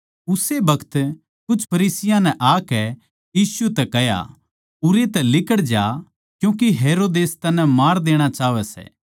उस्से बखत कुछ फरीसियाँ नै आकै यीशु तै कह्या उरै तै लिकड़ज्या क्यूँके हेरोदेस तन्नै मार देणा चाहवै सै